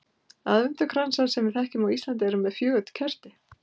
aðventukransar sem við þekkjum á íslandi eru með fjögur kerti